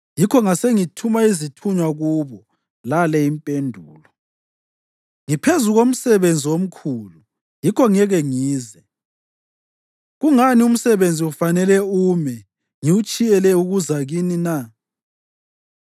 yikho ngasengithuma izithunywa kubo lale impendulo: “Ngiphezu komsebenzi omkhulu yikho ngeke ngize. Kungani umsebenzi ufanele ume ngiwutshiyela ukuza kini na?”